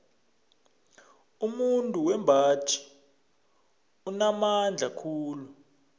umuntu wembaji unamandla khulu